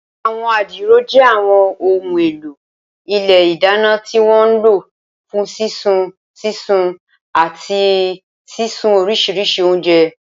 Àwọn adiro jẹ́ àwọn ohun èlò ilé ìdáná tí wọ́n ń lò fún sísun, sísun, àti sísun oríṣiríṣi oúnjẹ.